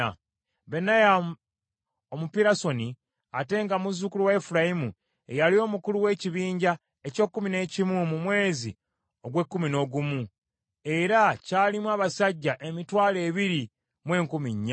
Benaya Omupirasoni, ate nga muzzukulu wa Efulayimu ye yali omukulu ow’ekibinja eky’ekkumi n’omu mu mwezi ogw’ekkumi n’ogumu, era kyalimu abasajja emitwalo ebiri mu enkumi nnya.